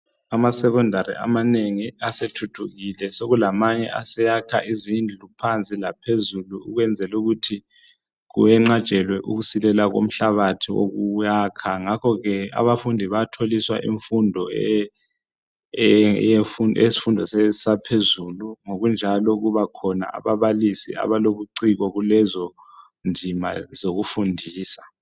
AmaSecondary amanengi asethuthukile sokulamanye aseyakha izindlu phansi laphezulu ukwenzela ukuthi kuyenqatshelwe ukusilela komhlabathi wokuyakha ngakho ke abafundi bayatholiswa imfundo yesifundo saphezulu ngokunjalo kubakhona ababalisi abalobuciko kulezondima zokufundisa.